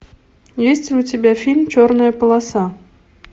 есть ли у тебя фильм черная полоса